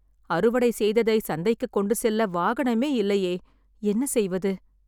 அறுவடை செய்ததை சந்தைக்கு கொண்டு செல்ல வாகனமே இல்லையே. என்ன செய்வது..